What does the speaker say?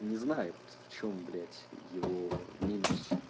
не знает в чём блять его минус